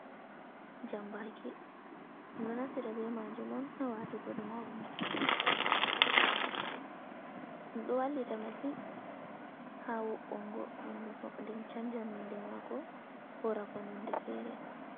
Jambaki ɗum ɗo naftira be majum on ha waatugo ɗum ha honduko ɗum ɗo wallita masin hawo’ongo honduko nden chanja nunde mako hora ko nonde feere.